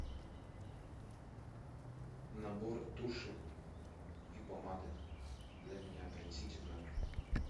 набор туши и помады для меня принесите в номер